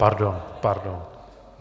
Pardon. Pardon.